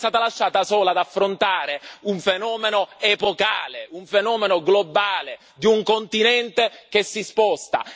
È stata lasciata sola ad affrontare un fenomeno epocale, un fenomeno globale di un continente che si sposta.